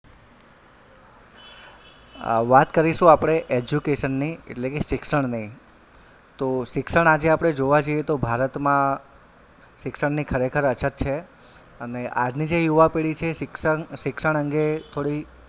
અ વાત કરીશું આપડે education ની એટલે કે શિક્ષણની તો શિક્ષણ આજે આપડે જોવાં જઈએ તો ભારતમાં શિક્ષણની ખરેખર અછત છે અને આજની જે યુવા પેઢી છે શિક્ષણ શિક્ષણ અંગે થોડી,